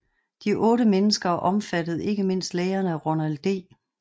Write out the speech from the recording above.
De otte mennesker omfattede ikke mindst lægerne Ronald D